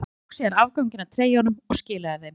Ég tók síðan afganginn af treyjunum og skilaði þeim.